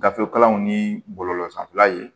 Gafe kalanw ni bɔlɔlɔ sanfɛla ye